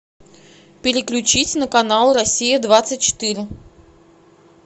переключить на канал россия двадцать четыре